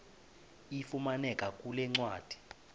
ifumaneka kule ncwadi